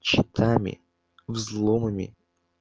читами взломами